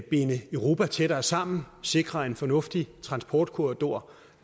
binde europa tættere sammen og sikre en fornuftig transportkorridor